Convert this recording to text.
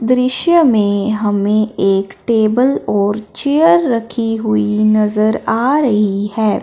दृश्य में हमें एक टेबल और चेयर रखी हुई नजर आ रही है।